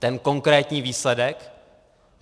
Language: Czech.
Ten konkrétní výsledek?